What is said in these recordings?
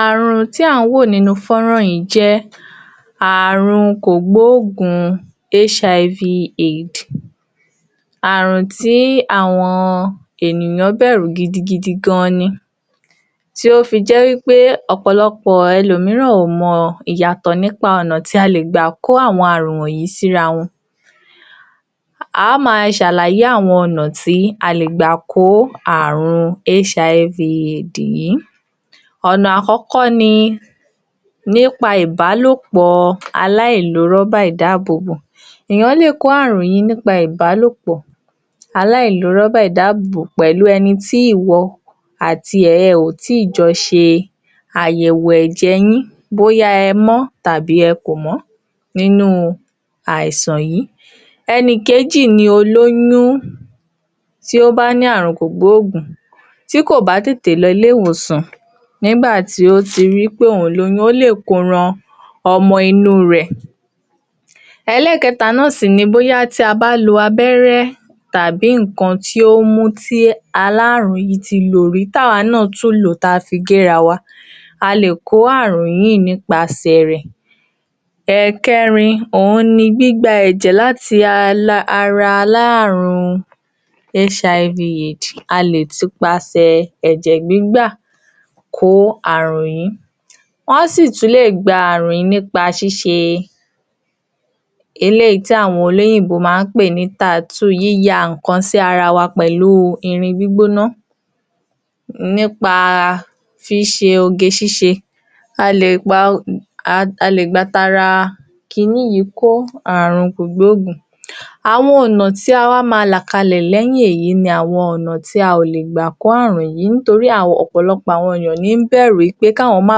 Àrùn tí à ń wò nínú fọ́nrán yìí jẹ́ àrùn kògbóògùn (HIV AIDS) àrùn tí àwọn ènìyàn bẹ̀rù gidi gidi gan ni tí ó fi jẹ́ pé ọ̀pọ̀lọpọ̀ ẹlò mìíràn kò mọ ìyàtọ̀ nípa ọ̀nà tí a lè gbà kó àwọn àrùn wọ̀nyìí síra wọn á ma ṣàlàyé àwọn ọ̀nà tí a lè gbà kó àrùn (HIV AIDS) yìí ọ̀nà àkọ́kọ́ ni nípa ìbálòpọ̀ aláìlo rọ́bà ìdábóbó èèyàn lè kó àrùn yìí nípa ìbálòpọ̀ aláìlo rọ́bà ìdábóbó pẹ̀lú ẹni tí ìwọ àti ẹ̀ ò tí jọ ṣe àyẹ̀wò ẹ̀jẹ̀ yín bóyá ẹ mọ́ tàbí ẹ kò mọ́ nínú àìsàn yìí ẹni kejì ni olóyún tí ó bá ní àrùn kògbóògùn tí kò bá tètè lọ ilé-ìwòsàn nígbà tí ó ti rí pé òun lóyún ó lè Koran ọmọ inú rẹ̀ ẹlẹ́ẹ̀kẹta náà sì ni bóyá tí a bá lo abẹ́rẹ́ tàbí nǹkan tí ó mú kí alárùn ti lò rí tí àwọn náà tún lò ó tí a fi gé ara wa a lè kó àrùn yìí nípa ṣe rẹ̀ ẹ̀kẹ́rin òhun ni gbígbà ẹ̀jẹ̀ láti ara alárùn (HIV AIDS)a lè tú pasẹ́ ẹ̀jẹ̀ gbígbà kó àrùn yìí wọ́n á sì tún lè gba àrùn yìí nípa ṣíṣe eléyìí tí àwọn olóyìńbò máa ń pè ní (tattoo) yíya nǹkan sí ara wa pẹ̀lú irin gbígbóná nípa ṣíṣe oge ṣíṣe a lè gba tara kI ní yìí kó àrùn kògbóògùn àwọn ọ̀nà tí a wá ma là kalẹ̀ lẹ́yìn èyí ní àwọn ọ̀nà tí a ò lè gbà kó àrùn yìí nítorí àwọn ọ̀pọ̀lọpọ̀ èèyàn ní ń bẹ̀rù pé kí àwọn má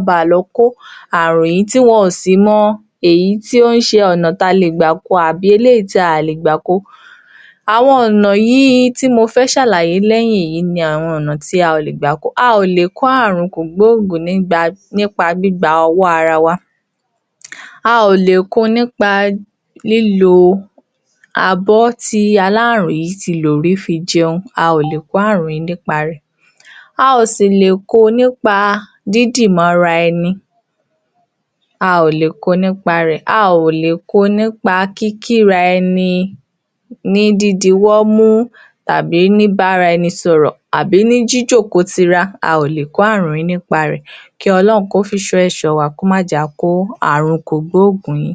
á ba lọ kó àrùn yìí tí wọn ò sì mọ èyí tí ó ń ṣe ọ̀nà tí a lè gbà ko àbí eléyìí tí a ò lè gbà ko àwọn ọ̀nà yìí tí mo fẹ́ ṣàlàyé lẹ́yìn yìí ni àwọn ọ̀nà tí a ò lè gbà ko a ò lè kó àrùn kògbóògùn nípa gbígba owó ara wa a ò lè ko nípa lílo abọ́ tí alárùn yìí ti lò rí fi jẹun a ò kó àrùn yìí nípa rẹ̀ a ò sílè ko nípa dídímọ̀ ara ẹni a ò lè ko nípa rẹ̀ a ò lè ko nípa kíkí ara ẹni ní dídi ọwọ́ mú àbí bíbá ara ẹni sọ̀rọ̀ àbí ní jíjókòó tira a ò lè ko àrùn yìí nípa rẹ̀ kí Ọlọ́run kí ó fi ìṣọ́ rẹ̀ ṣọ́ wa kó mà á jẹ́ kí a kó àrùn kògbóògùn yìí